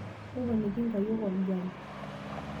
toponiki inkayiok olgali